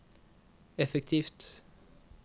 effektivt